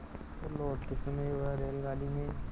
तो लौटते समय वह रेलगाडी में